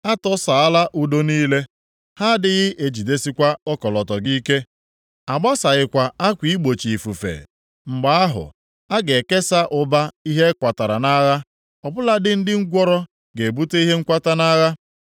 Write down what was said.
A tọsaala ụdọ niile: Ha adịghị ejidesikwa ọkọlọtọ gị ike, a gbasaghịkwa akwa igbochi ifufe. Mgbe ahụ, a ga-ekesa ụba ihe a kwatara nʼagha ọ bụladị ndị ngwụrọ ga-ebute ihe nkwata nʼagha.